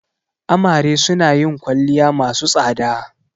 Amare suna yin kwalliya masu tsada.